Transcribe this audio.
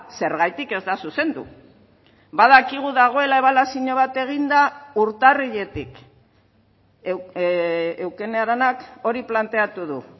zergatik ez da zuzendu badakigu dagoela ebaluazio bat eginda urtarriletik eukene aranak hori planteatu du